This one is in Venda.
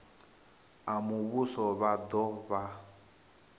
a muvhuso vha do vha